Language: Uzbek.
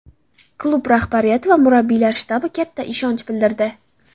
Klub rahbariyati va murabbiylar shtabi katta ishonch bildirdi.